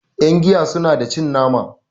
yangiya suna da cin nama